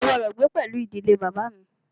Ó gbọ́dọ̀ gbé pẹlú ìdílé bàbá à mi!